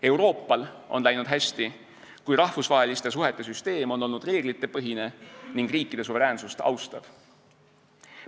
Euroopal on läinud hästi, kui rahvusvaheliste suhete süsteem on olnud reeglitepõhine ning riikide suveräänsust austav.